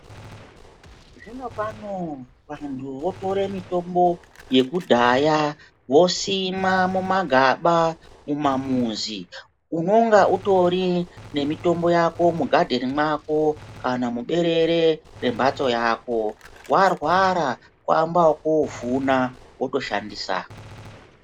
Zvinopano vantu votore mitombo yekudhaya vosima mumagaba mumamuzi, unonga utori nemitombo yako mugadheni mwako kana muberere yembatso yako warwara kuamba ekutovhuna wotoshandisa.